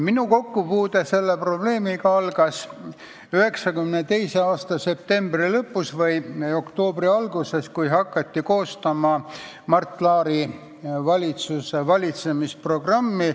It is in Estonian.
Minu kokkupuude selle probleemiga algas 1992. aasta septembri lõpus või oktoobri alguses, kui hakati koostama Mart Laari valitsuse valitsemisprogrammi.